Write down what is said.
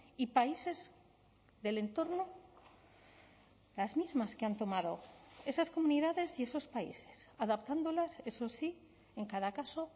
y países del entorno las mismas que han tomado esas comunidades y esos países adaptándolas eso sí en cada caso